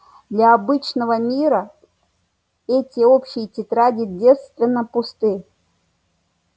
для обычного мира эти общие тетради девственно пусты